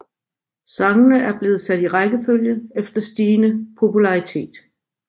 Sangene er blevet sat i rækkefølge efter stigende popularitet